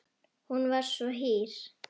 Hún var svo hýr.